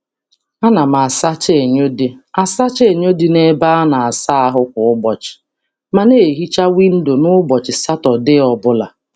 A na m asacha enyo dị asacha enyo dị na-ebe a na-asa ahụ kwa ụbọchị, ma na ehicha windo n'ụbọchị Satọdee ọbụla.